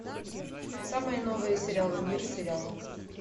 самые новые сериалы мир сериалов